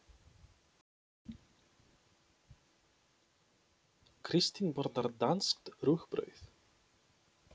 Kristín borðar danskt rúgbrauð.